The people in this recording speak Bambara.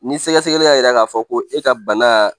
Ni sɛgɛsɛgɛli y'a yira k'a fɔ ko e ka banaa